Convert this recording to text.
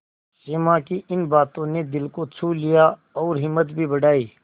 सिमा की इन बातों ने दिल को छू लिया और हिम्मत भी बढ़ाई